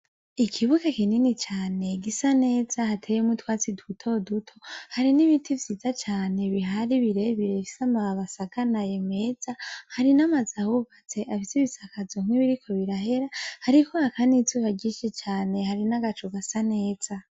Ikibuge kinini cane gisa neza hateyemwu twatsi duto duto hari n'ibiti vyiza cane bihari birebirebisa amabasaganaye meza hari n'amazahubatse abiso ibisakazo mkwibiriko birahera, ariko aka nizuba gishi cane hari n'agacu gasa neza.